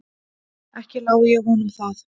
Ekki lái ég honum það.